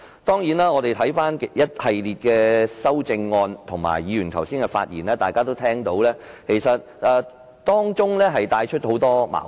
當然，當我們留意一系列的修正案及議員剛才的發言，大家也會發現當中其實帶出很多矛盾。